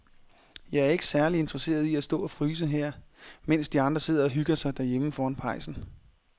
Jeg er ikke særlig interesseret i at stå og fryse her, mens de andre sidder og hygger sig derhjemme foran pejsen.